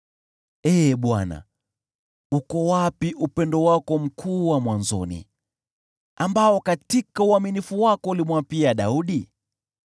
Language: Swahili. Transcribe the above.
Ee Bwana , uko wapi upendo wako mkuu wa mwanzoni, ambao katika uaminifu wako ulimwapia Daudi?